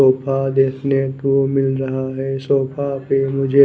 sofa देखने को मिल रहा है सोफा पे मुझे--